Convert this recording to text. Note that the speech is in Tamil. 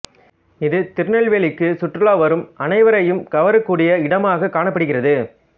இது திருநெல்வேலிக்கு சுற்றுலா வரும் அனைவரையும் கவரக் கூடிய இடமாக காணப்படுகிறது